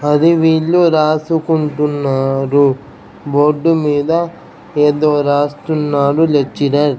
అది వీళ్ళు రాసుకుంటున్నారు. బోర్డు మీద ఏదో రాస్తున్నారు లెక్చరర్ .